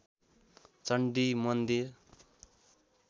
चण्डी मन्दिर